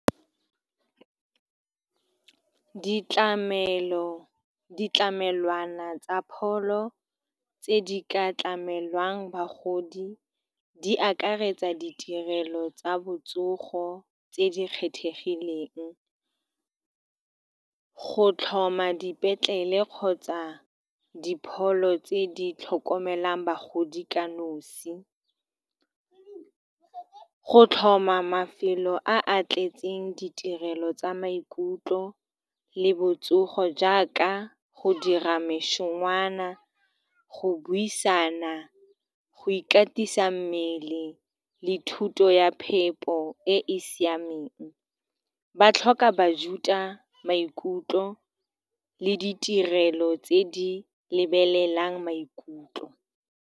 Ditlamelo, ditlamelwana tsa pholo tse di ka tlamelwang bagodi, di akaretsa ditirelo tsa botsogo tse di kgethegileng, go tlhoma dipetlele kgotsa dipholo tse di tlhokomelang bagodi ka nosi, le go tlhoma mafelo a a tletseng ditirelo tsa maikutlo le botsogo, jaaka go dira mešongwana, go buisana, go ikatisa mmele le thuto ya phepo. Puo e e siameng, ba tlhoka bajuta maikutlo le ditirelo tse di lebelelang maikutlo.